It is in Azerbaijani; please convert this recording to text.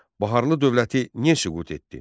Baharlı dövləti niyə süqut etdi?